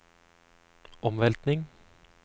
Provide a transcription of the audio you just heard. omveltning